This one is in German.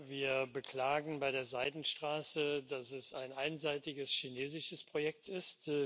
Wir beklagen bei der Seidenstraße, dass es ein einseitiges chinesisches Projekt ist.